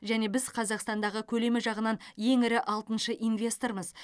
және біз қазақстандағы көлемі жағынан ең ірі алтыншы инвестормыз